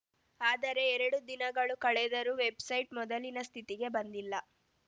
ಆದರೆ ಎರಡು ದಿನಗಳು ಕಳೆದರೂ ವೆಬ್‌ಸೈಟ್‌ ಮೊದಲಿನ ಸ್ಥಿತಿಗೆ ಬಂದಿಲ್ಲ